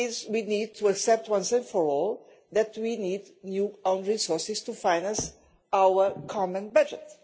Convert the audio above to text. We have to accept, once and for all, that we need new own resources to finance our common budget.